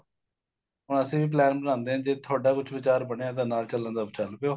ਹੁਣ ਅਸੀਂ ਵੀ plan ਬਣਾਦੇ ਆ ਜੇ ਤੁਹਾਡਾ ਕੁੱਝ ਵਿਚਾਰ ਬਣਿਆ ਨਾਲ ਚੱਲਣ ਦਾ ਤਾਂ ਚੱਲ ਪਿਉ